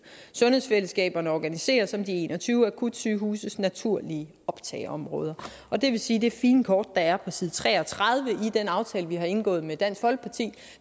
sundhedsfællesskaberne organiseres om de en og tyve akutsygehuses naturlige optageområder og det vil sige det fine kort der er på side tre og tredive i den aftale vi har indgået med dansk folkeparti